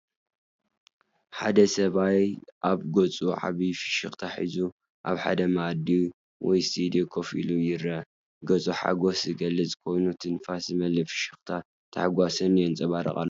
ሓደ ሰብኣይ ኣብ ገጹ ዓቢ ፍሽኽታ ሒዙ ኣብ ሓደ መኣዲ ወይ ስትድዮ ኮፍ ኢሉ ይርአ። ገጹ ሓጐስ ዝገልጽ ኮይኑ፡ ትንፋስ ዝመልአ ፍሽኽታን ታሕጓስን የንፀባርቕ ኣሎ።